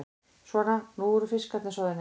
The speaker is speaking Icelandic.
Svona, nú eru fiskarnir soðnir.